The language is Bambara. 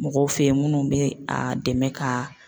Mɔgɔw fe yen munnu be a dɛmɛ ka.